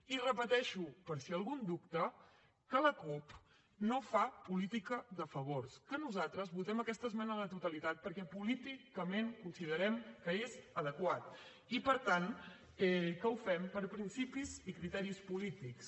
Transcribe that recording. i repeteixo per si algú en dubta que la cup no fa política de favors que nosaltres votem aquesta esmena a la totalitat perquè políticament considerem que és adequat i per tant que ho fem per principis i criteris polítics